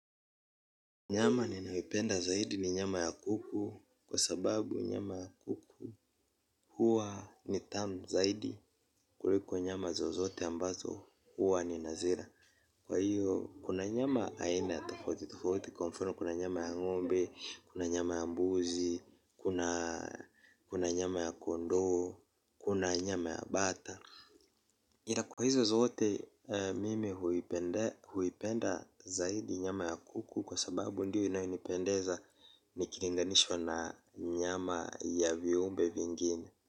Nyama ninayopenda zaidi ni nyama ya kuku kwa sababu nyama ya kuku huwa ni tamu zaidi kuliko nyama zozote ambazo huwa nina zila kwa hiyo kuna nyama aina tofauti tofauti kwa mfano kuna nyama ya ngombe, kuna nyama ya mbuzi, kuna nyama ya kondoo, kuna nyama ya bata. Ila kwa hizo zote mimi huipenda zaidi nyama ya kuku kwa sababu ndio inayonipendeza ukilinganishwa na nyama ya viumbe vingine.